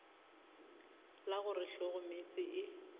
la go re hlogomeetse e